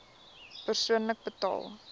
persoonlik betaal